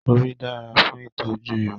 Òrí dára fún ìtọ́jú irun